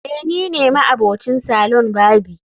eh nine ma'abocin salon barbi